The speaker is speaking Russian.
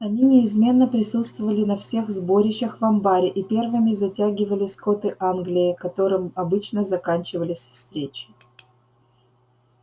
они неизменно присутствовали на всех сборищах в амбаре и первыми затягивали скоты англии которым обычно заканчивались встречи